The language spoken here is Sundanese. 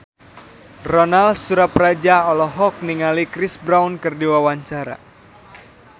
Ronal Surapradja olohok ningali Chris Brown keur diwawancara